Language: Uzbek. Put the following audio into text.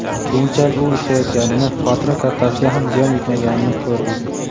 Keyinchalik u ishlayotganini, xotira kartasiga ham ziyon yetmaganini ko‘rdi.